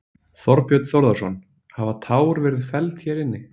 Þorbjörn Þórðarson: Hafa tár verið felld hér inni?